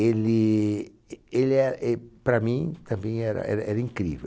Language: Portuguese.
Ele e ele er, e, para mim, para mim era era incrível.